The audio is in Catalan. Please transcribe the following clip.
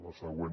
la següent